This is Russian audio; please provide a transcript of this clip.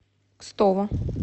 кстово